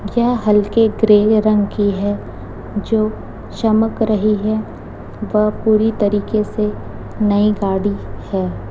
यह हल्के ग्रे रंग की है जो चमक रही है वह पूरी तरीके से नई गाड़ी है।